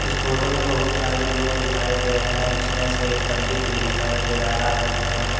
photo में बहुत सारे लोग दिखाई दे रहे हैं जिसमें से एक पंडित भी दिखाई दे रहा है जिन्होंने--